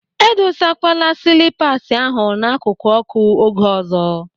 Edosakwala silipas ahụ n'akụkụ ọ́kụ́ oge ọzọ!